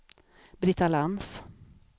Britta Lantz